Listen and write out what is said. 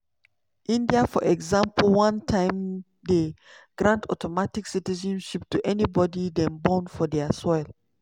india for example one time dey grant automatic citizenship to anybody dem born for dia soil.